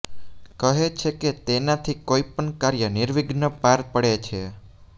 કહે છે કે તેનાથી કોઈપણ કાર્ય નિર્વિઘ્ને પાર પડે છે